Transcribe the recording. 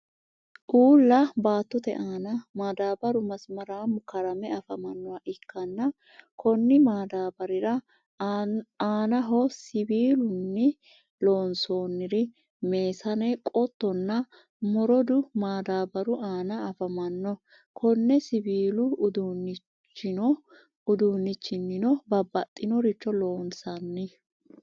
uulla baattote aanna madabaru masimaramu karamme afamanoha ikanna konni madabarira aanaho siwiilunni lonsoonri mesanne, qottonna morudu madbaru aanna afamanno konne siwilu udunichinnino babaxinoricho loonsani.